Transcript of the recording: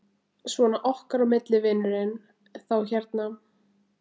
Svona okkar á milli, vinurinn. þá hérna.